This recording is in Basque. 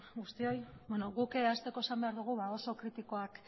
guztioi guk hasteko esan behar dugu oso kritikoak